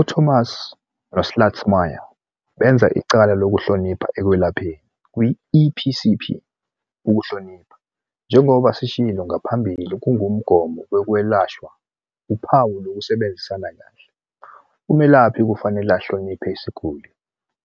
UThomas noSchlutsmeyer benza icala lokuhlonipha ekwelapheni- "Kwi-EPCP, ukuhlonipha, njengoba sishilo ngaphambili, kungumgomo wokwelashwa, uphawu lokusebenza kahle. "Umelaphi kufanele ahloniphe isiguli